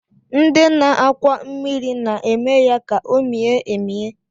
Ndị na-akwọ mmiri na-eme ya ka o mie emie